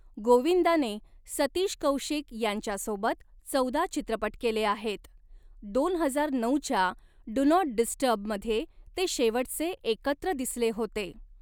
गोविंदाने सतीश कौशिक यांच्यासोबत चौदा चित्रपट केले आहेत, दोन हजार नऊ च्या 'डू नॉट डिस्टर्ब'मध्ये ते शेवटचे एकत्र दिसले होते.